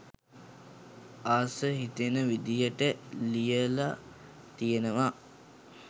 ආස හිතෙන විදිහට ලියල තියෙනවා